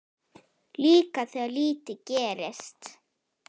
Líka þegar lítið gerist.